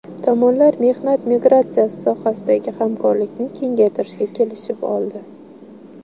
Tomonlar mehnat migratsiyasi sohasidagi hamkorlikni kengaytirishga kelishib oldi.